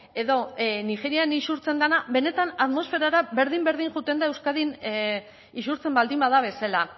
edo nigerian isurtzen dena benetan atmosferara berdin berdin joaten da euskadin isurtzen baldin bada bezala